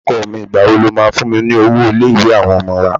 Ọkọ mi, ìgbà wo lo máa fún mi ní owó ilé-ìwé àwọn ọmọ wa?